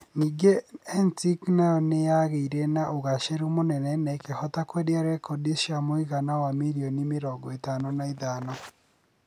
Ningĩ NSync nayo nĩ yaagĩire na ũgaacĩru mũnene na ĩkĩhota kwendia rekondi cia muigana wa mirioni mĩrongo ĩtano na ithano.